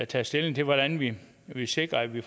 taget stilling til hvordan vi vi sikrer at vi